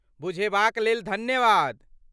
बुझेबाक लेल धन्यवाद।